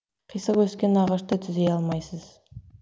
қисық өскен ағашты түзей алмайсыз